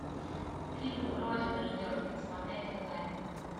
фильм родина ждет смотреть онлайн